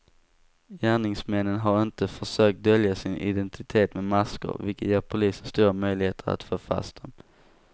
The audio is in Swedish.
Gärningsmännen har inte försökt dölja sin identitet med masker, vilket ger polisen stora möjligheter att få fast dem.